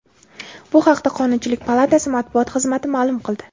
Bu haqda Qonunchilik palatasi matbuot xizmati ma’lum qildi .